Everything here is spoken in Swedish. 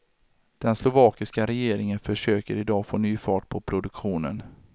Den slovakiska regeringen försöker idag få ny fart på produktionen.